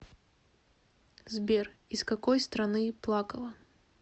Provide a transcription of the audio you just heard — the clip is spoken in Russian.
сбер из какой страны плакала